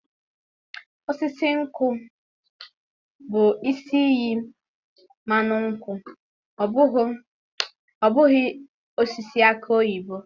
Osisi nkwụ bụ isi iyi mmanụ nkwụ ọ bụghị osisi aki oyibo.